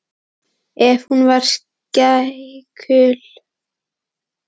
Ef hún var skeikul gátu ráð hennar líka verið það.